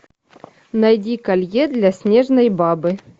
найди колье для снежной бабы